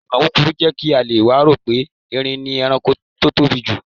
Ìmọ̀ kúkurú jẹ́ kí Àlọ́ wa rò pé Eerin ni ẹranko tó tóbi jù.